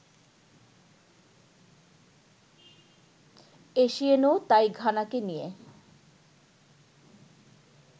এসিয়েনও তাই ঘানাকে নিয়ে